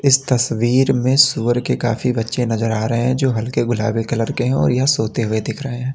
इस तस्वीर में सूअर के काफी बच्चे नजर आ रहे हैं जो हल्के गुलाबी कलर के हैं और यह सोते हुए दिख रहे हैं।